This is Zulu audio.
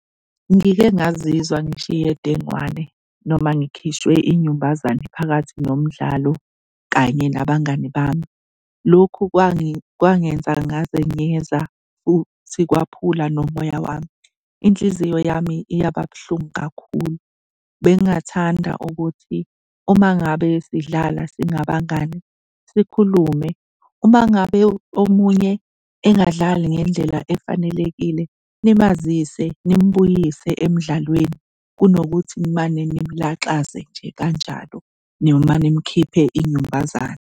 Ngike ngazizwe ngishiye dengwane noma ngikhishwe inyumbazane phakathi nomdlalo kanye nabangani bami. Lokhu kwangenza ngazenyeza futhi kwaphula nomoya wami, inhliziyo yami yaba buhlungu kakhulu. Bengingathanda ukuthi uma ngabe sidlala singabangani sikhulume. Uma ngabe omunye engadlali ngendlela efanelekile nimazise, nimbuyise emdlalweni kunokuthi nimane nimlaxaze nje kanjalo noma nimkhiphe inyumbazane.